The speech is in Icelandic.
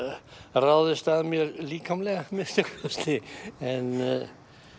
ráðist á mig líkamlega að minnsta kosti en